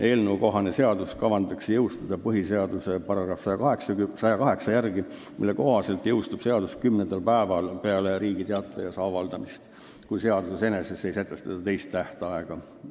Eelnõukohane seadus kavandatakse jõustada põhiseaduse § 108 järgi, mille kohaselt jõustub seadus kümnendal päeval peale Riigi Teatajas avaldamist, kui seaduses eneses ei sätestata teist tähtaega .